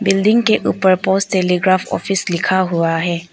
Building के ऊपर post telegraph office लिखा हुआ है।